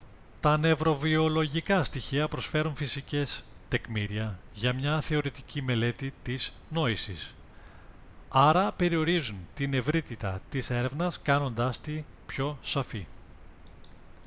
τα νευροβιολογικά στοιχεία προσφέρουν φυσικές τεκμήρια για μια θεωρητική μελέτη της νόησης άρα περιορίζουν την ευρύτητα της έρευνας κάνοντάς τη πιο σαφή